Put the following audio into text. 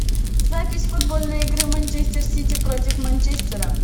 запись футбольной игры манчестер сити против манчестера